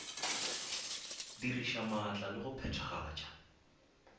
diriša maatla le go phethagatša